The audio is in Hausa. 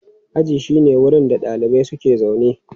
Aji shine wurin da ɗalibai suke zaune.